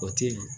O ti